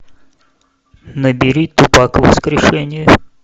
набери тупак воскрешение